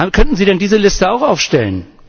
Könnten Sie denn diese Liste auch aufstellen?